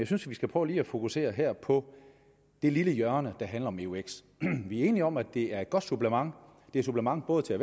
synes vi skal prøve lige at fokusere på det lille hjørne der handler om eux vi er enige om at det er et godt supplement supplement både til